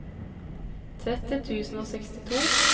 tretti tusen og sekstito